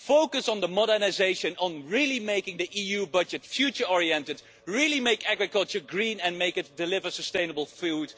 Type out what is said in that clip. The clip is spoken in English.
Focus on modernisation, on really making the EU budget future oriented, on really making agriculture green and on making it deliver sustainable food.